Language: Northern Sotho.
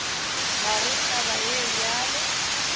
ga go taba ye bjalo